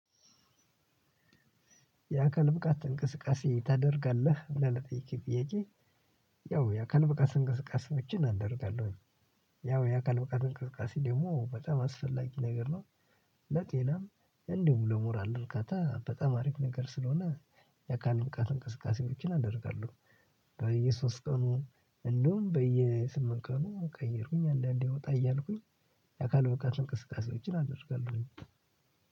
የአካል ብቃት እንቅስቃሴ ታደርጋለህ ብለህ ለጠየከኝ ጥያቄ? ያው የአካል ብቃት እንቅስቃሴዎችን አደርጋለሁ ያው የአካል ብቃት እንቅስቃሴ ደግሞ በጣም አስፈላጊ ነገር ነው። ለጤና እንዲሁ ለሞራል ርካታ በጣም አሪፍ ነገር ስለሆነ የአካል ብቃት እንቅስቃሴዎችን አደርጋለሁ። በየሶስት ቀኑ እንደውም በየስምንት ቀኑ ቀየሩኝ አንዳንዴ ወጣ እያልኩኝ። የአካል ብቃት እንቅስቃሴዎችን አደርጋለሁ